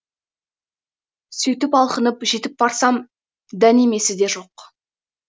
сөйтіп алқынып жетіп барсам дәнемесі де жоқ